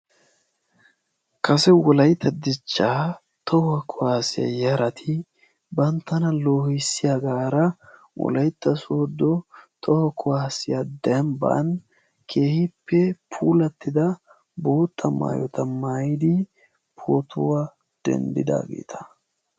Kase wolaytta dichchaa toho kuwaassiya yarati banttana loohissiyaagaara wolaytta sooddo toho kuwaassiya dembban keehippe puulattida bootta maayota maayidi pootuwaa denddidaageeta.